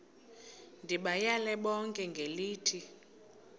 ndibayale bonke ngelithi